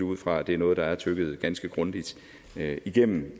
ud fra at det er noget der er tygget ganske grundigt igennem